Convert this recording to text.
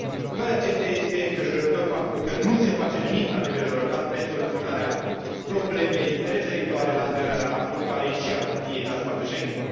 Cu toate acestea, este îngrijorător faptul că nu se face nimic la nivel european pentru soluționarea problemei referitoare la aderarea Bulgariei și a României la spațiul Schengen.